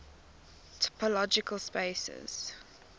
topological spaces